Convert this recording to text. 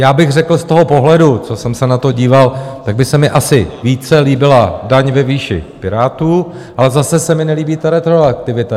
Já bych řekl z toho pohledu, co jsem se na to díval, tak by se mi asi více líbila daň ve výši Pirátů, ale zase se mi nelíbí ta retroaktivita.